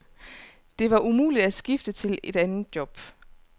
Det var umuligt at skifte til et anden job.